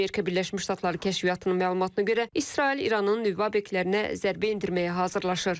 Amerika Birləşmiş Ştatları kəşfiyyatının məlumatına görə İsrail İranın nüvə obyektlərinə zərbə endirməyə hazırlaşır.